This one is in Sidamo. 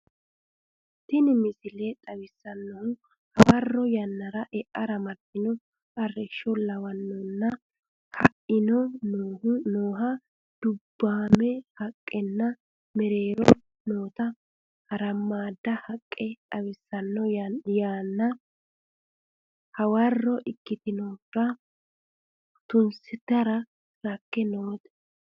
Tini misile xawissannohu hawarri yannara e'ara martino arrishsho, kawanninna ka'aanni nooha dubbaame haqqenna mereeroho noota harammaadda haqqe xawissanno. Yanna hawarro ikkitinohira tusitara rakke noote.